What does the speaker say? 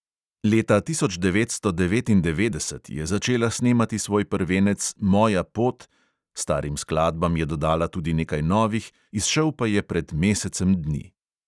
Leta tisoč devetsto devetindevetdeset je začela snemati svoj prvenec moja pot – starim skladbam je dodala tudi nekaj novih – izšel pa je pred mesecem dni.